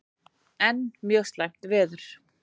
Enn mjög slæmt veður